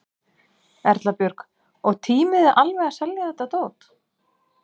Erla Björg: Og tímið þið alveg að selja þetta dót?